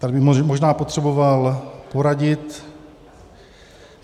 Tady bych možná potřeboval poradit.